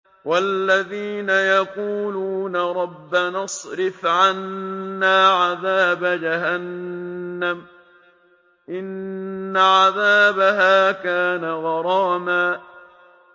وَالَّذِينَ يَقُولُونَ رَبَّنَا اصْرِفْ عَنَّا عَذَابَ جَهَنَّمَ ۖ إِنَّ عَذَابَهَا كَانَ غَرَامًا